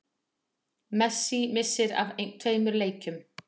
Messi missir af tveimur leikjum